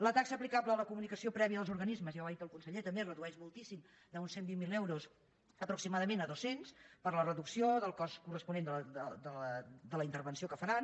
la taxa aplicable a la comunicació prèvia dels organismes ja ho ha dit el conseller també es redueix moltíssim d’uns cent i vint miler euros aproximadament a dos cents per la reducció del cost corresponent de la intervenció que faran